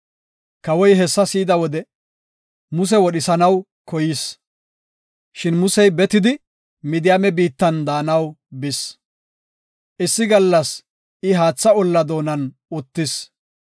Kawoy hessa si7ida wode, Muse wodhisanaw koyis. Shin Musey betidi, Midiyaame biittan de7anaw bis. Issi gallas I haatha olla doonan uttis.